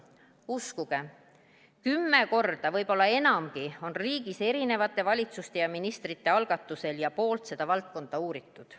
Uskuge, kümme korda, võib-olla enamgi on riigis erinevate valitsuste ja ministrite algatusel seda valdkonda uuritud.